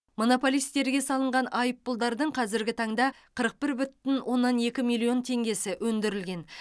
монополистерге салынған айыппұлдардың қазіргі таңда қырық бір бүтін оннан екі миллион теңгесі өндірілген